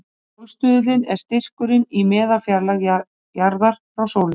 Sólstuðullinn er styrkurinn í meðalfjarlægð jarðar frá sólu.